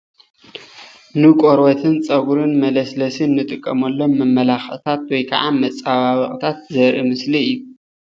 ንቆርበትን ፀጉሪን መለስለሲ እንጥቀመሎም መመላክዒታት ወይ ከዓ መፀባበቂታት ዘርኢ ምስሊ እዩ፡፡